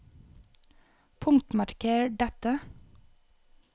Punktmarker dette